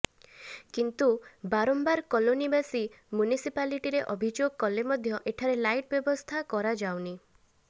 କିନ୍ତୁ ବାରମ୍ବାର କଲୋନିବାସୀ ମ୍ୟୁନିସିପାଲିଟିରେ ଅଭିଯୋଗ କଲେ ମଧ୍ୟ ଏଠାରେ ଲାଇଟ୍ ବ୍ୟବସ୍ଥା କରାଯାଉନି